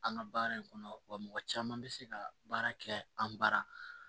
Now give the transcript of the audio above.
An ka baara in kɔnɔ wa mɔgɔ caman be se ka baara kɛ an bara